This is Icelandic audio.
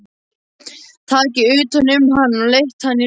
Tekið utan um hann og leitt hann í rúmið.